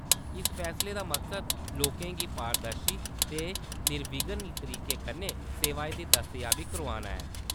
इस फैसले दा मकसद लोकें गी पारदर्शी ते निविघ्न तरीके कन्नै सेवाएं दी दस्तयाबी करोआना ऐ।